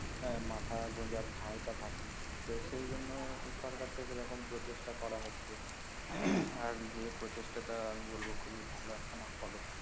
হ্যা মাথা গোঁজার ঠাই টা থাকে না তো সেই জন্য সরকার থেকে এরকম প্রচেষ্টা করা হচ্ছে আর যে প্রচেষ্টাটা আমি বলবো খুবই ভালো একখানা পদক্ষেপ